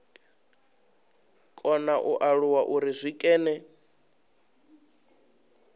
kona u alula uri zwikene